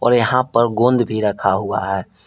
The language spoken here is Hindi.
और यहां पर गोंद भी रखा हुआ है।